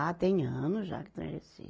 Ah, tem anos já que estão em Recife.